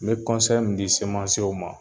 N mɛ min di ma